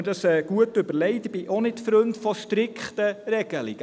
Ich habe mir dies gut überlegt, ich bin auch kein Freund von strikten Regelungen.